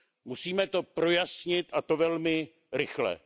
Musíme to projasnit, a to velmi rychle.